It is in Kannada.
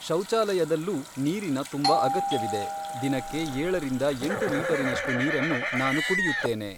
ಶೌಚಾಲಯದಲ್ಲೂ ನೀರಿನ ತುಂಬ ಅಗತ್ಯವಿದೆ, ದಿನಕ್ಕೆ ಏಳರಿಂದ ಎಂಟು ಲೀಟರಿನಷ್ಟು ನೀರನ್ನು ನಾನು ಕುಡಿಯುತ್ತೇನೆ